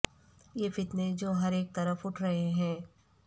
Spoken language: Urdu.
یہ فتنے جو ہر اک طرف اٹھ رہے ہیں